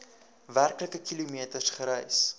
werklike kilometers gereis